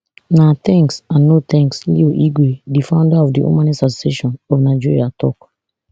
na thanks and no thanks leo igwe di founder of the humanist association of nigeria tok